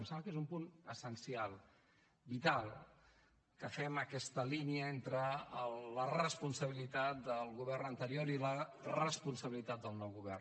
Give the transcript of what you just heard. em sembla que és un punt essencial vital que fem aquesta línia entre la responsabilitat del govern anterior i la responsabilitat del nou govern